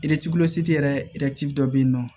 yɛrɛ dɔ bɛ yen nɔ